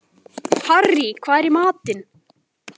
Harrý, hvað er í matinn?